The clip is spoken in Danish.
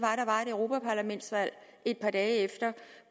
europaparlamentsvalg et par dage efter